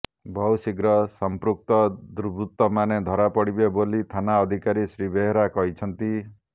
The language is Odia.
ବହୁଶୀଘ୍ର ସଂପୃକ୍ତ ଦୁର୍ବୁତମାନେ ଧରାପଡିବେ ବୋଲି ଥାନା ଅଧିକାରୀ ଶ୍ରୀ ବେହେରା କହିଛନ୍ତି